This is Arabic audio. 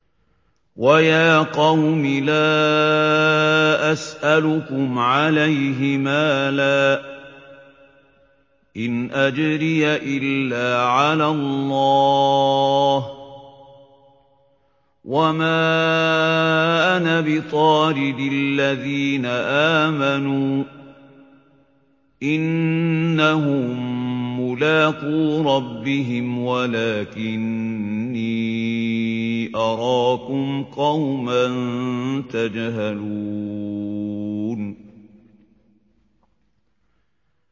وَيَا قَوْمِ لَا أَسْأَلُكُمْ عَلَيْهِ مَالًا ۖ إِنْ أَجْرِيَ إِلَّا عَلَى اللَّهِ ۚ وَمَا أَنَا بِطَارِدِ الَّذِينَ آمَنُوا ۚ إِنَّهُم مُّلَاقُو رَبِّهِمْ وَلَٰكِنِّي أَرَاكُمْ قَوْمًا تَجْهَلُونَ